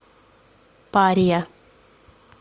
пария